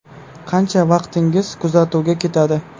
Qancha vaqtingiz kuzatuvga ketadi?